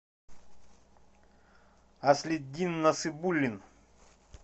аслиддин насыбуллин